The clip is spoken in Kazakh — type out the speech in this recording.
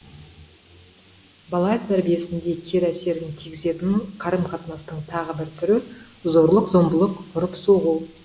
бала тәрбиесінде кері әсерін тигізетін қарым қатынастың тағы бір түрі зорлық зомбылық ұрып соғу